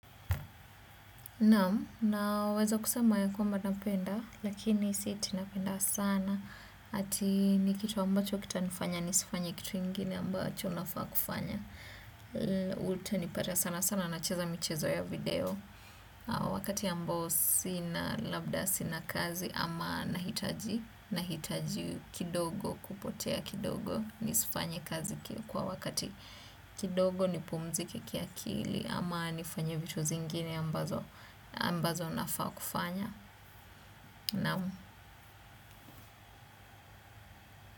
Naam, naweza kusema ya kwamba napenda, lakini si ati apenda sana, ati ni kitu ambacho kitanifanya, nisifanye kitu ingine ambacho nafaa kufanya. Utanipata sana sana nacheza michezo ya video, wakati ambao sina labda sina kazi ama nahitaji, nahitaji kidogo kupotea kidogo, nisifanye kazi kwa wakati kidogo nipumzike kiakili ama nifanye vitu zingine ambazo. Ambazo nafaa kufanya naam.